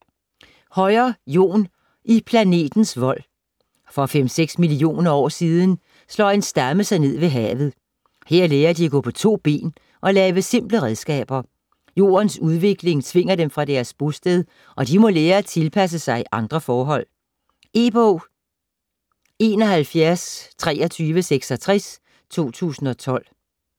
Høyer, Jon: I planetens vold For 5-6 millioner år siden slår en stamme sig ned ved havet. Her lærer de at gå på to ben og lave simple redskaber. Jordens udvikling tvinger dem fra deres bosted, og de må lære at tilpasse sig andre forhold. E-bog 712366 2012.